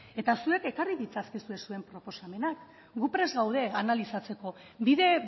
eta zuek ekarri ditzakezue zuen proposamenak gu prest gaude analizatzeko bide